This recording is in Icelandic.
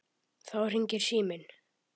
Þá hringir síminn.